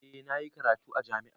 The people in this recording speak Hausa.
Eh na yi karatu a jami'a.